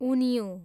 उन्युँ